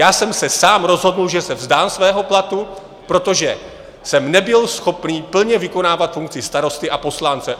Já jsem se sám rozhodl, že se vzdám svého platu, protože jsem nebyl schopný plně vykonávat funkci starosty a poslance.